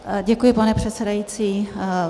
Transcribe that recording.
Děkuji, pane předsedající.